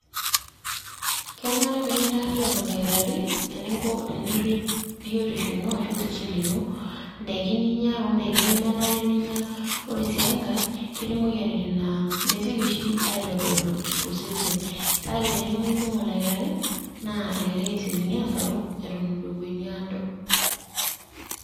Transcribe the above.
Kenare pee kintaariyian oldakitari eninko teneirrip biotisho ino ashu osesen lino. Nd`aiki ninyia o nd`aiki nemenare ninyia, ore sii enkae ketii moyiaritin naa mesioki oshi aitodolu too sesen kake tenilo mikimpimo oldakitari naa elelek esiokini aasaru eton eitu epuo eniado.